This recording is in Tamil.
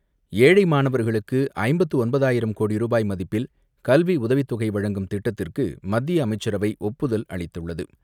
ஏழை மாணவர்களுக்கு ஐம்பத்து ஒன்பதாயிரம் கோடி ரூபாய் மதிப்பில் கல்வி உதவித்தொகை வழங்கும் திட்டத்திற்கு மத்திய அமைச்சரவை ஒப்புதல் அளித்துள்ளது.